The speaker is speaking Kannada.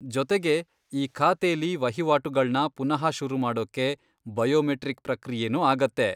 ಜೊತೆಗೆ, ಈ ಖಾತೆಲಿ ವಹಿವಾಟುಗಳ್ನ ಪುನಃ ಶುರುಮಾಡೋಕೆ ಬಯೋಮೆಟ್ರಿಕ್ ಪ್ರಕ್ರಿಯೆನೂ ಆಗತ್ತೆ.